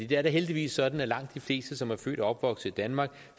det er da heldigvis sådan at langt de fleste som er født og opvokset i danmark